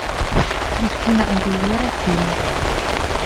кристина агилера фильм